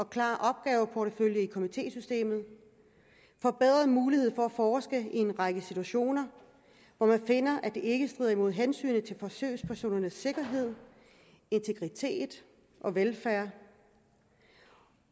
klar opgaveportefølje i komitésystemet en forbedret mulighed for at forske i en række situationer hvor man finder at det ikke strider imod hensynet til forsøgspersonernes sikkerhed integritet og velfærd